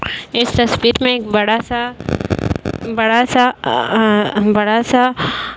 इस तस्वीर में एक बड़ा सा बड़ा सा अ बड़ा सा --